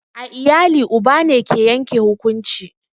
A iyali uba ne ke yanke hukunci